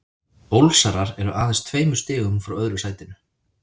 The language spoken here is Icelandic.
Ólsarar eru aðeins tveimur stigum frá öðru sætinu.